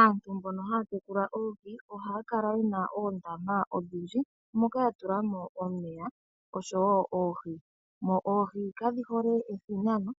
Aantu mbono haya tekula oohi ohaya kala ye na oondama odhindji moka ya tula mo omeya osho wo oohi. Oohi kadhi hole ethinano